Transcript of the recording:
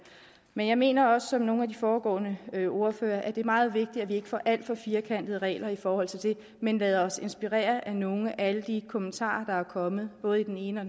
men jeg mener også som nogle af de foregående ordførere at det er meget vigtigt at vi ikke får alt for firkantede regler i forhold til det men lader os inspirere af nogle af alle de kommentarer der er kommet både i den ene og